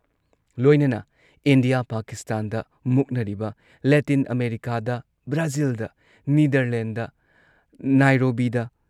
ꯂꯣꯏꯅꯅ ꯏꯟꯗꯤꯌꯥ ꯄꯥꯀꯤꯁꯇꯥꯟꯗ ꯃꯨꯛꯅꯔꯤꯕ, ꯂꯦꯇꯤꯟ ꯑꯃꯦꯔꯤꯀꯥꯗ ꯕ꯭ꯔꯥꯖꯤꯜꯗ, ꯅꯤꯗꯔꯂꯦꯟꯗꯗ, ꯅꯥꯏꯔꯣꯕꯤꯗ,